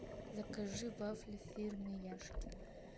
закажи вафли фирмы яшкино